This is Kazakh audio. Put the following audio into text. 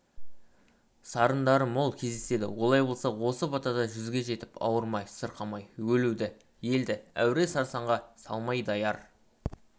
сарындары мол кездеседі олай болса осы батада жүзге жетіп ауырмай-сырқамай өлуді елді әуре-сарсаңға салмай даяр